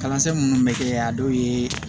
Kalansen minnu bɛ kɛ a dɔw ye